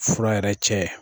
Fura yɛrɛ cɛ.